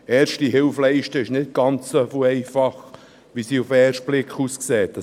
Erste Hilfe zu leisten, ist nicht ganz so einfach, wie es auf den ersten Blick den Anschein macht.